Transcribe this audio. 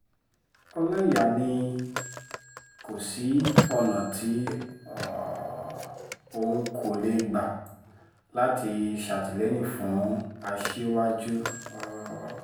ọlọ́ìyà ni kò sí ọ̀nà tí um òun kò lè gbà láti ṣàtìlẹ́yìn fún aṣíwájú um